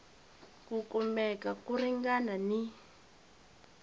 ku kumeka ko ringana ni